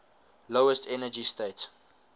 lowest energy state